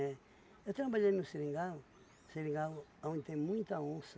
Eu trabalhei no Seringal, Seringal aonde tem muita onça.